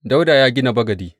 Dawuda ya gina bagadi.